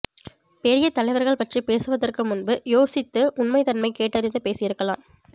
பெரிய தலைவர்கள் பற்றி பேசுவதற்கு முன்பு யோசித்து உண்மை தன்மை கேட்டறிந்து பேசியிருக்கலாம்